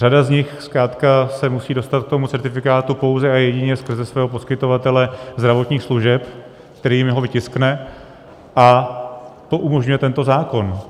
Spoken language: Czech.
Řada z nich zkrátka se musí dostat k tomu certifikátu pouze a jedině skrze svého poskytovatele zdravotních služeb, který jim ho vytiskne, a to umožňuje tento zákon.